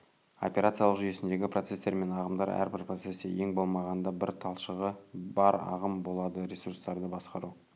операциялық жүйесіндегі процестер мен ағымдар әрбір процесте ең болмағанда бір талшығы бар ағым болады ресурстарды басқару